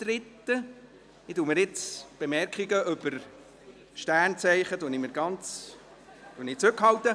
Ich halte mich jetzt zurück, was Bemerkungen über Sternzeichen betrifft.